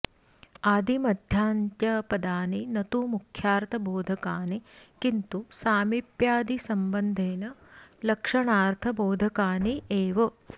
आदिमध्यान्त्यपदानि न तु मुख्यार्थबोधकानि किन्तु सामिप्यादिसम्बन्धेन लक्षणार्थबोधकानि एव